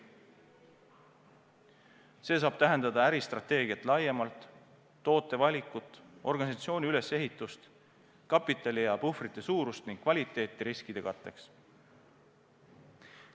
See saab tähendada äristrateegiat laiemalt, toote valikut, organisatsiooni ülesehitust, kapitali ja puhvrite suurust ning kvaliteeti riskide katteks.